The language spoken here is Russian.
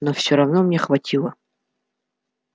но всё равно мне хватило